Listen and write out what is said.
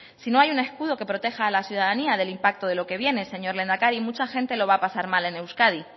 si no hay un escudo que proteja a la ciudadanía del impacto de lo que viene señor lehendakari mucha gente lo va a pasar mal en euskadi